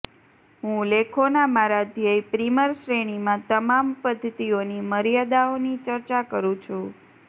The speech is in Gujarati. હું લેખોના મારા ધ્યેય પ્રિમર શ્રેણીમાં તમામ પદ્ધતિઓની મર્યાદાઓની ચર્ચા કરું છું